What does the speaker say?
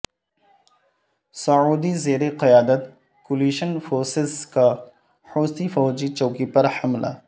سعودی زیر قیادت coalition forces کا حوثی فوجی چوکی پر حملہ